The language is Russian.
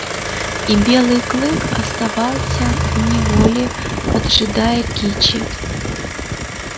и белый клык оставался в неволе поджидая кичи